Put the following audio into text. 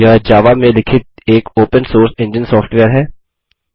यह जावा में लिखित एक ओपन सोर्स इंजन सॉफ्टवेयर है